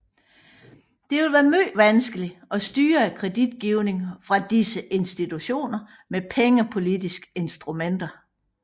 Det vil være meget vanskeligt at styre kreditgivningen fra disse institutioner med pengepolitiske instrumenter